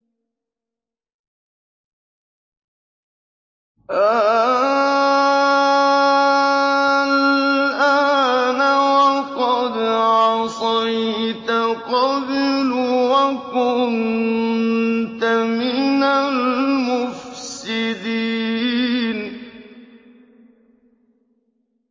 آلْآنَ وَقَدْ عَصَيْتَ قَبْلُ وَكُنتَ مِنَ الْمُفْسِدِينَ